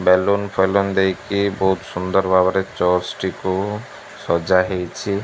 Balloon ଫେଲୁନ ଦେଇକି ବୋହୁତ୍ ସୁନ୍ଦର୍ ଭାବରେ ଚର୍ଚ୍ଚ ଟିକୁ ସଜା ହେଇଛି।